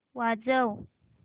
वाजव